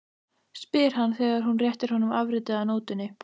spyr hann þegar hún réttir honum afritið af nótunni.